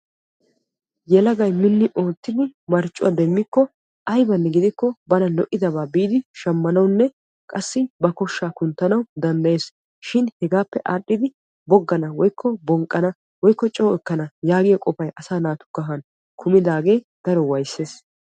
yelagay minni oottidi marccuwa demmikko ayibanne bana lo"idabaa biidi shammanawunne qassi ba koshshaa kunttanawu danddayees. shin hegaappe aadhdhidi boggana woyikko bonqqana woyikko coo ekkana yaagiyo qofay asa na"aa kahan kumidaagee daro wayisses.